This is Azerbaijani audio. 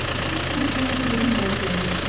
İkiniz birlikdə necə də gülməli görünürsüz.